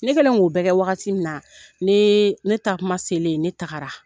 Ne kɛlen k'o bɛɛ kɛ wagati min na, ne ne taa kuma selen, ne tagara.